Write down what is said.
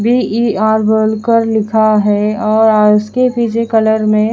VER walker लिखा है और उसके पीछे कलर में--